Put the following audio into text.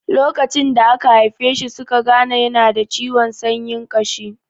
Lokacin da aka haife shi suka gane yana da ciwon sanyin ƙashi.